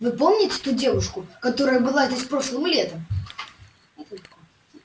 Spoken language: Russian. вы помните ту девушку которая была здесь прошлым летом